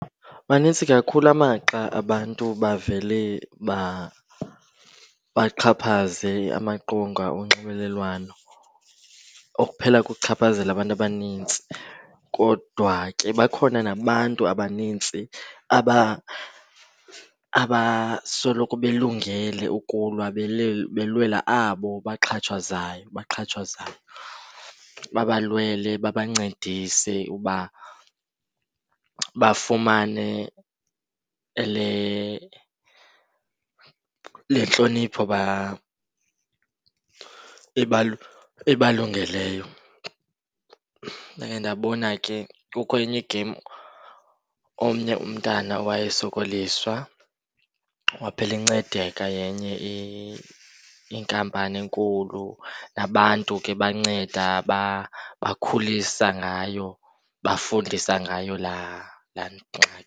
Manintsi kakhulu amaxa abantu bavele baxhaphaze amaqonga onxibelelwano okuphela kuchaphazela abantu abanintsi. Kodwa ke bakhona nabantu abanintsi abasoloko belungele ukulwa belwela abo baxhatshazwayo. Babalwele, babancedise uba bafumane le, le ntlonipho ibalungeleyo. Ndake ndabona ke kukho enye igem omnye umntana owayesokoliswa waphela encedeka yenye inkampani enkulu, nabantu ke banceda bakhulisa ngayo, bafundisa ngayo laa, laa ngxaki.